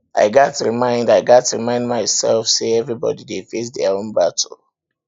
i gats remind i gats remind myself say everybody dey face their own battles